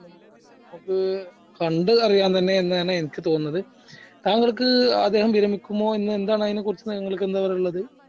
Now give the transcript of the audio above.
ക്ക് നമുക്ക് കണ്ട് അറിയാം തന്നെ എന്ന് തന്നെ എനിക്ക് തോന്നുന്നത് താങ്കൾക്ക് അദ്ദേഹം വിരമിക്കുമോ എന്താണ് അതിനെ കുറിച്ച് എന്താണ് നിങ്ങൾക്ക് എന്താ പറയാനുള്ളത്